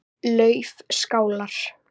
Laufskálar